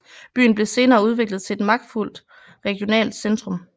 Byen blev senere udviklet til et magtfuldt regionalt centrum